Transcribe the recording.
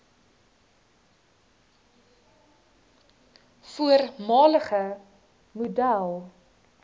voormalige model